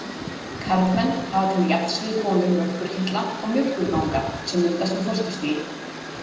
Karlmenn hafa til jafns við konur mjólkurkirtla og mjólkurganga sem myndast á fósturstigi.